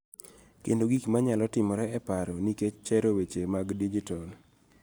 Kendo gik ma nyalo timore e paro nikech chero weche mag dijitol.